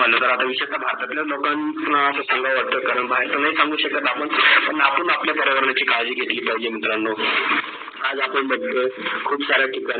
विषय म्हणजे भारतातील लोक अस सांग्या वाटाय करण अस नाही सांगू शकत आपण पण आपल्या पर्यावरणाची काडजी घेतली माहिजे मित्रानो. आज आपण बगतो खूप सार ठिकाणी